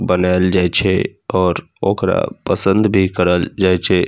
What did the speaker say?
बनाएल जाय छै और ओकरा पसंद भी करल जाय छै।